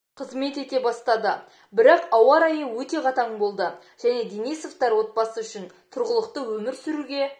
қызмет ете бастады бірақ ауа-райы өте қатаң болды және денисовтар отбасы үшін тұрғылықты өмір сүруге